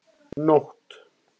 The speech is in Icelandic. Nótt